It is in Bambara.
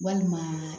Walima